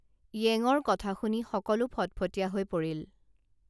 য়েঙৰ কথা শুনি সকলো ফটফটীয়া হৈ পৰিল